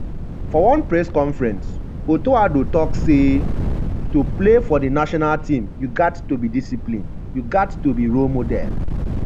for one press conference otto addo tok say “to play for di national team you gat to be disciplined you gat to be role model